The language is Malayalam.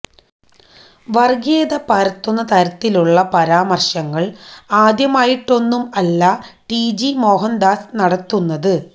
വര്ഗ്ഗീയത പരത്തുന്ന തരത്തിലുള്ള പരാമര്ശങ്ങള് ആദ്യമായിട്ടൊന്നും അല്ല ടിജി മോഹന്ദാസ് നടത്തുന്നത്